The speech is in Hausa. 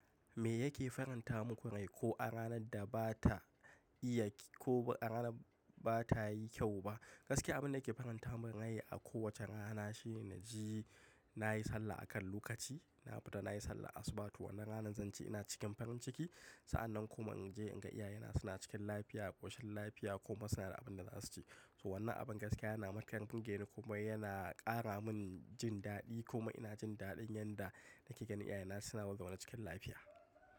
Me yake faranta muku rai ko a ranar da ba ta iya ko a rana ba ta yi kyau ba? Gaskiya abin da yake faranta min rai a ko wacce rana shine na ji na yi sallah a kan lokaci. Na fita na yi sallah asubah, to wannan rana zan ji ina cikin farin ciki. Sa'an nan kuma in je in ga iyayena suna cikin lafiya, a ƙoshin lafiya kuma suna da abin da za su ci. To wannan abin gaskiya yana makaɗa ƙungiyar ni kuma yana ƙara min jin daɗi kuma ina jin daɗin yanda nake ganin iyayena suna murgama cikin lafiya.